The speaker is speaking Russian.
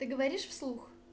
ты говоришь вслух